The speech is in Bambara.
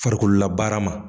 Farikololabaara ma.